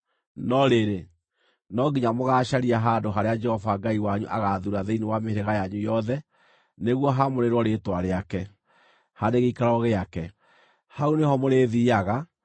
No rĩrĩ, no nginya mũgaacaria handũ harĩa Jehova Ngai wanyu agaathuura thĩinĩ wa mĩhĩrĩga yanyu yothe, nĩguo haamũrĩrwo rĩĩtwa rĩake, harĩ gĩikaro gĩake. Hau nĩho mũrĩthiiaga;